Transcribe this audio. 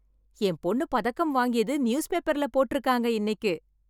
என் பொண்ணு பதக்கம் வாங்கியது நியூஸ் பேப்பர்ல போட்டு இருக்காங்க இன்னைக்கு.